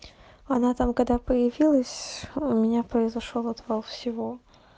она там когда появилась у меня произошёл отвал всего